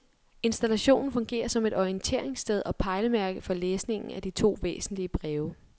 Installationen fungerer som et orienteringssted og pejlemærke for læsningen af de to væsentlige breve.